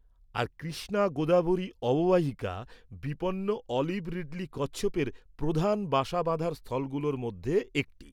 আর কৃষ্ণা গোদাবরী অববাহিকা বিপন্ন olive ridley কচ্ছপের প্রধান বাসা বাঁধার স্থলগুলোর মধ্যে একটি।